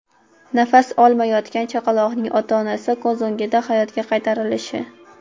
Nafas olmayotgan chaqaloqning ota-onasi ko‘z o‘ngida hayotga qaytarilishi.